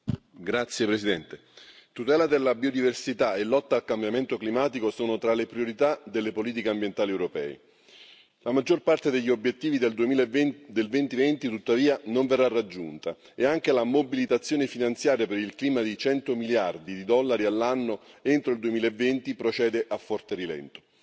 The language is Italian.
Signor Presidente, onorevoli colleghi, tutela della biodiversità e lotta al cambiamento climatico sono tra le priorità delle politiche ambientali europee. La maggior parte degli obiettivi del 2020, tuttavia, non verrà raggiunta e anche la mobilitazione finanziaria per il clima, di cento miliardi di dollari all'anno entro il 2020, procede a forte rilento.